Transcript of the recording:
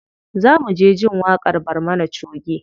Za mu je jin waƙar barmana choge.